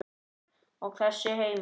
Og þessi heimur?